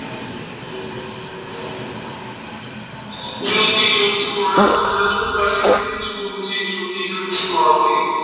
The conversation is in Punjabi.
ਜੋਤੀ ਜੋਤ ਸਮਾਉਣਾ, ਪੰਦਰਾਂ ਸੌ ਉਣਤਾਲੀ ਈਸਵੀ ਵਿੱਚ ਗੁਰੂ ਜੀ ਜੋਤੀ ਜੋਤ ਸਮਾ ਗਏ।